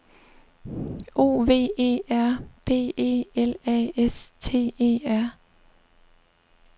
O V E R B E L A S T E R